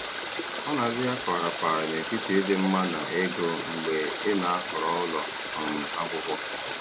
Ọ na-adị ya ka ọ rapaara n'etiti ịdị mma na ego mgbe ị na-ahọrọ ụlọ um akwụkwọ.